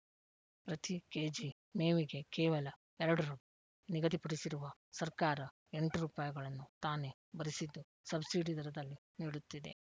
ಪ್ರತಿ ಕೆಜಿ ಮೇವಿಗೆ ಕೇವಲ ಎರಡು ರೂ ನಿಗದಿಪಡಿಸಿರುವ ಸರ್ಕಾರ ಎಂಟು ರೂಪಾಯಿಗಳನ್ನು ತಾನೇ ಭರಿಸಿದ್ದು ಸಬ್ಸಿಡಿ ದರದಲ್ಲಿ ನೀಡುತ್ತಿದೆ